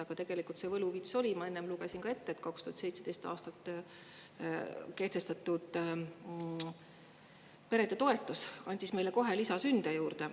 Aga tegelikult see võluvits oli, ma enne lugesin ette: 2017. aastal kehtestatud perede toetus andis meile kohe lisasünde juurde.